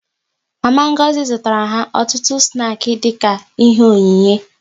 Mama Ngozi zụtara ha ọtụtụ snaki dịka ihe onyinye